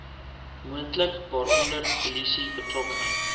moontlik waaronder polisiebetrokkenheid